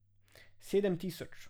Sedem tisoč.